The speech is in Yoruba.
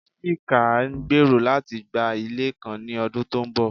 Chike ngbero lati gba ile kan ni ọdun to nbọ